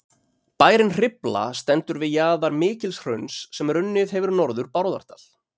bærinn hrifla stendur við jaðar mikils hrauns sem runnið hefur norður bárðardal